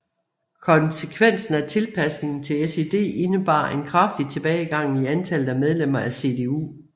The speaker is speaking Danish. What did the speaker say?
Konsekvensen af tilpasningen til SED indebar en kraftig tilbagegang i antallet af medlemmer af CDU